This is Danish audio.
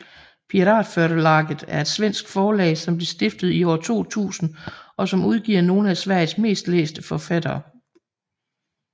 Piratförlaget er et svensk forlag som blev stiftet i år 2000 og som udgiver nogle af Sveriges mest læste forfattere